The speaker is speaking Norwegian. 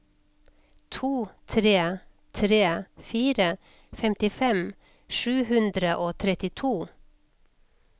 to tre tre fire femtifem sju hundre og trettito